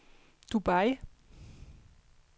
Dubai